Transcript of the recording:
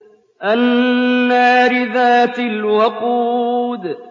النَّارِ ذَاتِ الْوَقُودِ